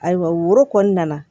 Ayiwa woro kɔni nana